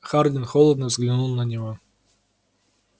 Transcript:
хардин холодно взглянул на него